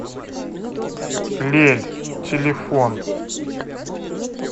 лель телефон